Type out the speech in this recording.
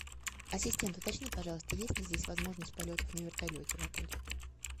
ассистент уточни пожалуйста есть ли здесь возможность полетов на вертолете в отеле